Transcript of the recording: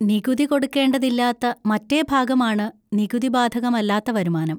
നികുതി കൊടുക്കേണ്ടതില്ലാത്ത മറ്റേ ഭാഗമാണ് നികുതി ബാധകമല്ലാത്ത വരുമാനം.